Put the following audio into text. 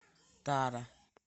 тара